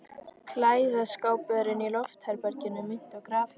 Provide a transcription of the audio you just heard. Klæðaskápurinn í loftherberginu minnti á grafhýsi.